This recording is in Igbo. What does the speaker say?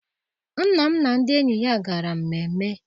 Nna m na ndị enyi ya gara mmemme.